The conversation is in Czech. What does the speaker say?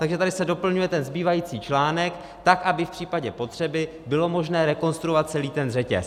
Takže tady se doplňuje ten zbývající článek tak, aby v případě potřeby bylo možné rekonstruovat celý ten řetěz.